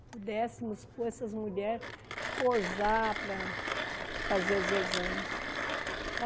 pudéssemos pôr essas mulheres, pousar para fazer os exames.